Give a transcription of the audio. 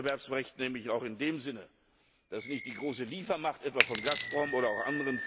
Wettbewerbsrecht nämlich auch in dem Sinne, dass nicht die große Liefermacht, etwa von Gazprom oder auch anderen Firmen